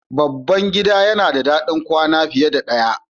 Babban gida yana da ɗakin kwana fiye da ɗaya.